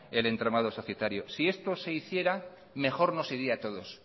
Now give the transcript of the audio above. el entramado societario si esto se hiciera mejor nos iría a todos